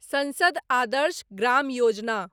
संसद आदर्श ग्राम योजना